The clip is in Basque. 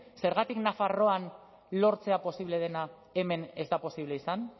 zergatik nafarroan lortzea posible dena hemen ez da posible izan